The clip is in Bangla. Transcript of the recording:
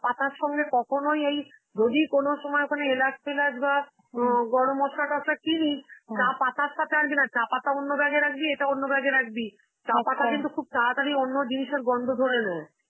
পাতার সঙ্গে কখনই এই যদি কোনো সময় ওখানে এলাচ টেলাচ বাঃ হম গরম মসলা টসলা কিনিস, চা পাতার সাথে আনবি না. চা পাতা অন্য bag এ রাখবি, এটা অন্য bag এ রাখবি. চা পাতা কিন্তু খুব তাড়াতাড়ি অন্য জিনিসের গন্ধ ধরে নেয়.